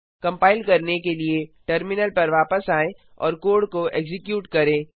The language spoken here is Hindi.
कंपाइल करने के लिए टर्मिनल पर वापस आएं और कोड को एक्जीक्यूट करें